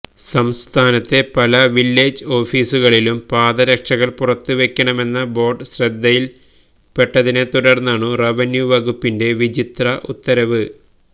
സംസ്ഥാനത്തെ പല വില്ലേജ് ഓഫീസുകളിലും പാദരക്ഷകള് പുറത്തുവയ്ക്കണമെന്ന ബോര്ഡ് ശ്രദ്ധയില്പ്പെട്ടതിനെത്തുടര്ന്നാണു റവന്യുവകുപ്പിന്റെ വിചിത്ര ഉത്തരവ്